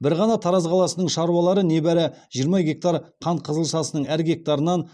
бір ғана тараз қаласының шаруалары небәрі жиырма гектар қант қызылшасының әр гектарынан